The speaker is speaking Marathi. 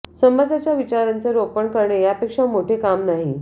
समाजात विचारांचे रोपण करणे यापेक्षा मोठे काम नाही